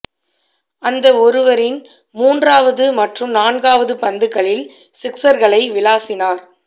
அந்த ஓவரின் மூன்றாவது மற்றும் நான்காவது பந்துகளில் சிக்ஸ்ர்களை விளாசினார்